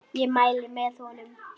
Ég mæli með honum.